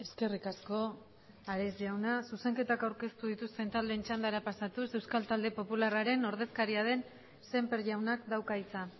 eskerrik asko ares jauna zuzenketak aurkeztu dituzten taldeen txandara pasatuz euskal taldeen popularraren ordezkariaren sémper jaunak dauka hitza